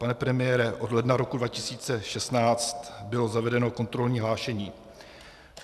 Pane premiére, od ledna roku 2016 bylo zavedeno kontrolní hlášení.